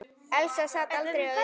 Elsa sat aldrei auðum höndum.